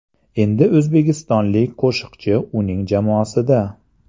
Endi o‘zbekistonlik qo‘shiqchi uning jamoasida.